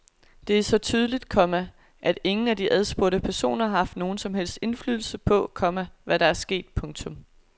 Det er så tydeligt, komma at ingen af de adspurgte personer har haft nogen som helst indflydelse på, komma hvad der er sket. punktum